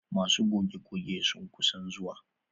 Masu goge goge sun kusan zuwa.